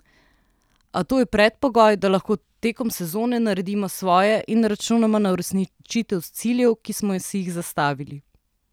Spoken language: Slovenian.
A to je predpogoj, da lahko tekom sezone naredimo svoje in računamo na uresničitev ciljev, ki smo si jih zastavili.